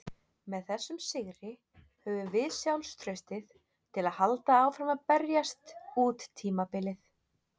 Með þessum sigri höfum við sjálfstraustið til að halda áfram að berjast út tímabilið.